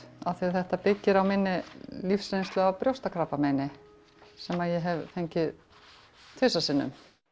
af því þetta byggir á minni lífsreynslu af brjóstakrabbameini sem ég hef fengið tvisvar sinnum